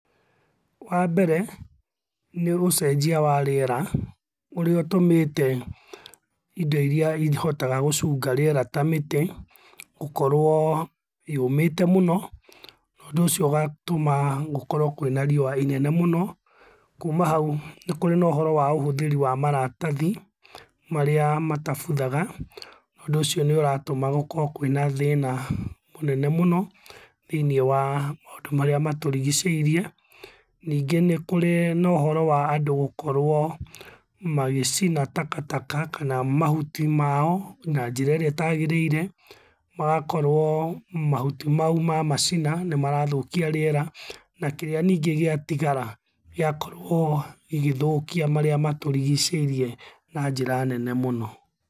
Wa mbere, nĩũcenjia wa rĩera ũrĩa ũtũmĩte indo irĩa ihotaga gũcũnga rĩera ta mĩtĩ, gũkorwo yũmĩte mũno, ũndũ ũcio ũgatũma gũkorwo kwĩna riũa inene mũno, kũma hau nĩ kũrĩ na ũhoro wa ũhũthĩri wa maratathi marĩa matabuthaga, ũndũ ũcio nĩũratũma gũkorwo kwĩna thĩna mũnene mũno thĩiniĩ wa maũndũ maria maturigicĩirie. Ningĩ, nĩ kũrĩ na ũhoro wa andũ gũkorwo magĩcina takataka, kana mahuti mao na njĩra irĩa itagĩrĩire, magakorwo mahuti mau mamacina nĩ marathũkia rĩera, na kĩrĩa ningĩ giatigara gĩgakorwo gĩgĩthũkia marĩa matũrigiceirie na njĩra nene mũno.